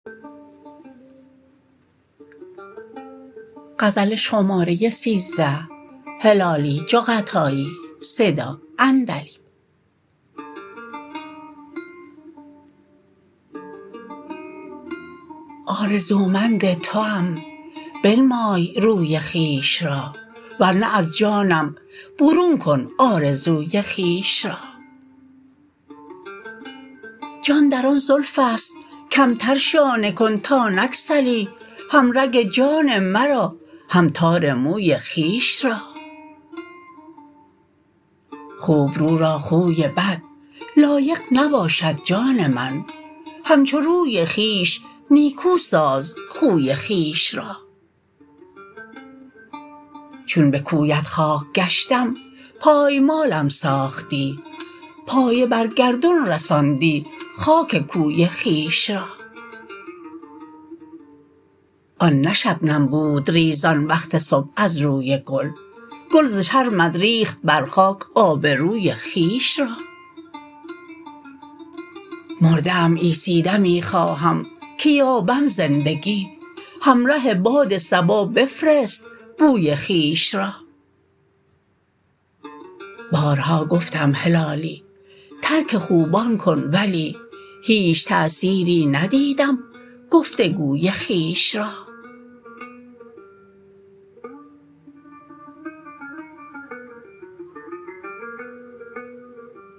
آرزومند توام بنمای روی خویش را ور نه از جانم برون کن آرزوی خویش را جان در آن زلفست کمتر شانه کن تا نگسلی هم رگ جان مرا هم تار موی خویش را خوبرو را خوی بد لایق نباشد جان من همچو روی خویش نیکو ساز خوی خویش را چون بکویت خاک گشتم پایمالم ساختی پایه بر گردون رساندی خاک کوی خویش را آن نه شبنم بود ریزان وقت صبح از روی گل گل ز شرمت ریخت بر خاک آبروی خویش را مرده ام عیسی دمی خواهم که یابم زندگی همره باد صبا بفرست بوی خویش را بارها گفتم هلالی ترک خوبان کن ولی هیچ تأثیری ندیدم گفتگوی خویش را